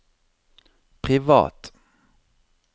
privat